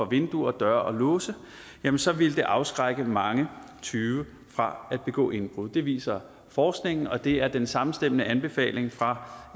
vinduer og døre og låse så ville det afskrække mange tyve fra at begå indbrud det viser forskningen og det er den samstemmende anbefaling fra